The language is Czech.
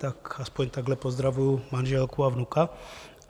Tak aspoň takto pozdravuji manželku a vnuka.